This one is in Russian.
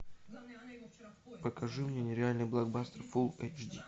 покажи мне нереальный блокбастер фул эйч ди